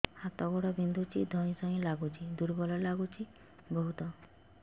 ହାତ ଗୋଡ ବିନ୍ଧୁଛି ଧଇଁସଇଁ ଲାଗୁଚି ଦୁର୍ବଳ ଲାଗୁଚି ବହୁତ